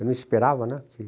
Eu não esperava, né? Que...